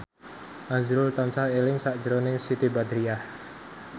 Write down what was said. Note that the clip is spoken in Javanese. azrul tansah eling sakjroning Siti Badriah